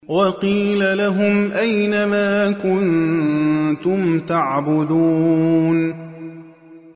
وَقِيلَ لَهُمْ أَيْنَ مَا كُنتُمْ تَعْبُدُونَ